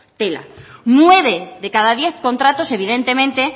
tela nueve de cada diez contratos evidentemente